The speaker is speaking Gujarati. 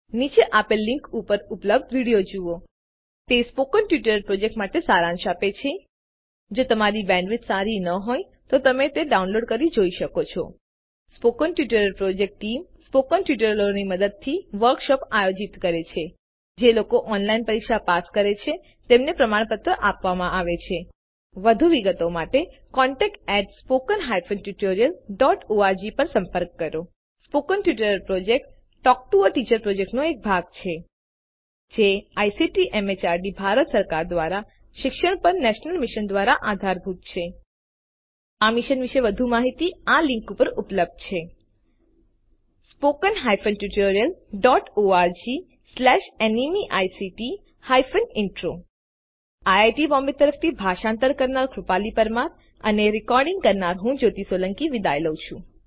નીચે આપેલ લીનક ઉપર ઉપલબ્ધ વિડીઓ જુઓ httpspoken tutorialorgWhat is a Spoken Tutorial તે સ્પોકન ટ્યુટોરીયલ પ્રોજેક્ટ માટે સારાંશ આપે છે જો તમારી પાસે સારી બેન્ડવિડ્થ ન હોય તો તમે ડાઉનલોડ કરી તે જોઈ શકો છો spoken tutorial project team spoken ટ્યુટોરીયલોની મદદથી વર્કશોપ આયોજિત કરે છે જેઓ ઓનલાઇન પરીક્ષા પાસ કરે છે તેમને પ્રમાણપત્ર આપે છે વધુ વિગતો માટે contactspoken tutorialorg પર સંપર્ક કરો સ્પોકન ટ્યુટોરિયલ પ્રોજેક્ટ એ ટોક ટુ અ ટીચર પ્રોજેક્ટનો એક ભાગ છે જે આઇસીટી એમએચઆરડી ભારત સરકાર દ્વારા શિક્ષણ પર નેશનલ મિશન દ્વારા આધારભૂત છે આ મિશન વિશે વધુ માહીતી આ લીંક ઉપર ઉપલબ્ધ છે httpspoken tutorialorgNMEICT Intro IIT Bombay તરફથી ભાષાંતર કરનાર હું કૃપાલી પરમાર વિદાય લઉં છું